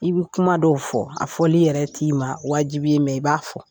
I bɛ kuma dɔw fɔ a fɔli yɛrɛ t'i ma wajibi ye i b'a fɔ